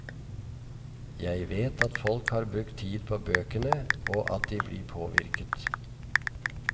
Jeg vet at folk har brukt tid på bøkene, og at de blir påvirket.